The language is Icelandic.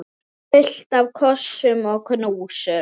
Fullt af kossum og knúsum.